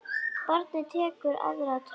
Barnið tekur aðra törn.